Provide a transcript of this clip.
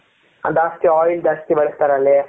ಅಲ್ಲಿ ಜಾಸ್ತಿ oil ಜಾಸ್ತಿ ಬಳಸ್ತಾರೆ ಅಲ್ಲಿ,